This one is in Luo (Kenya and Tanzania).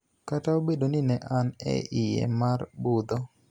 Kata obedo ni ne an e iye mar budho,